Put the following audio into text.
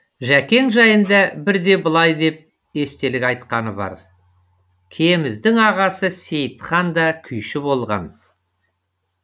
жәкең жайында бірде былай деп естелік айтқаны бар кеміздің ағасы сейітхан да күйші болған